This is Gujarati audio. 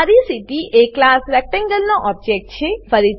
રેક્ટ એ ક્લાસ રેક્ટેંગલ નો ઓબજેક્ટ છે